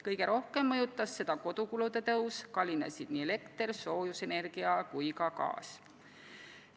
Kõige rohkem mõjutas seda kodukulude suurenemine, kallinesid nii elekter, soojusenergia kui ka gaas.